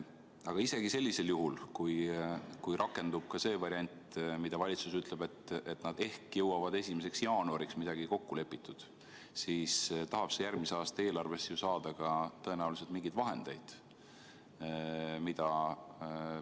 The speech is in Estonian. Aga isegi sellisel juhul, kui rakendub see variant, nagu valitsus on öelnud, et nad ehk jõuavad 1. jaanuariks midagi kokku leppida, siis tahab see järgmise aasta eelarvest ju ka tõenäoliselt mingeid vahendeid saada.